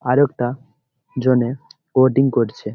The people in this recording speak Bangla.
আর একটা জনের কোডিং করছে।